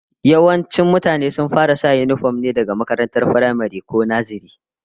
Yawancin mutane sun fara sanya yinifom ne daga makarantar firamare, ko nazare